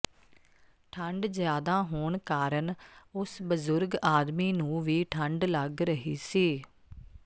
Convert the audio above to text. ਠੰਡ ਜਿਆਦਾਹੋਣ ਕਾਰਨ ਉਸ ਬਜ਼ੁਰਗ ਆਦਮੀ ਨੂੰ ਵੀ ਠੰਡ ਲੱਗ ਰਹੀ ਸੀ